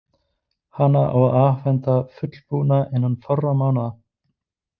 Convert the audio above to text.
Hana á að afhenda fullbúna innan fárra mánaða.